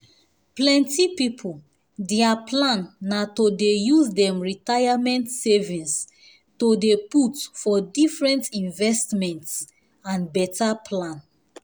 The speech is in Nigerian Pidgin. plenty people their plan na to dey use dem retirement savings to dey put for different investments and better plan